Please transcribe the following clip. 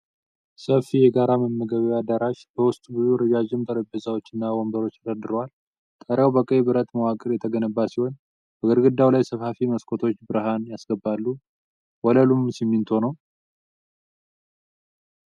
ሰፊ የጋራ መመገቢያ አዳራሽ በውስጡ ብዙ ረዣዥም ጠረጴዛዎችና ወንበሮች ተደርድረዋል። ጣሪያው በቀይ ብረት መዋቅር የተገነባ ሲሆን በግድግዳው ላይ ሰፋፊ መስኮቶች ብርሃን ያስገባሉ። ወለሉ ሲሚንቶ ነው።